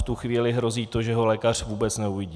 V tu chvíli hrozí to, že ho lékař vůbec neuvidí.